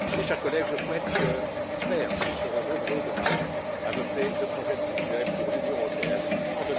Mes chers collègues, je souhaite et j'espère que nous serons nombreux demain à voter le projet de budget de l'Union européenne pour